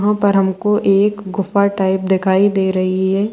वहां पर हमको एक गुफा टाइप दिखाई दे रही है।